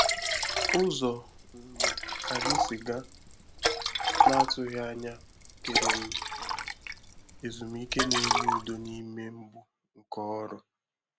Ụzọ um anyị sịgà n’atụghị anya bùtèrè m um ezumike na-enye udo n’ime mgbu nke ọrụ.